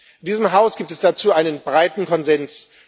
In diesem Haus gibt es dazu einen breiten Konsens.